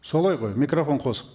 солай ғой микрофон қос